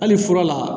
Hali fura la